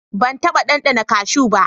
Ban taɓa ɗanɗana cashu ba.